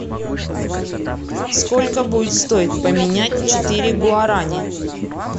сколько будет стоить поменять четыре гуарани